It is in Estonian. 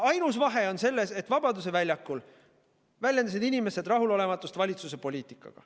Ainus vahe on selles, et Vabaduse väljakul väljendasid inimesed rahulolematust valitsuse poliitikaga.